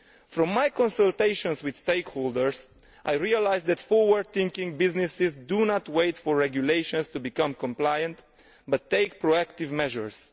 From my consultations with stakeholders, I realise that forward thinking businesses do not wait for regulations in order to become compliant, but take proactive measures.